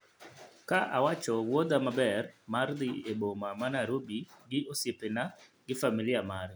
ka awacho wuodha maber mar dhi e boma ma Nairobi gi osiepena gi familia mare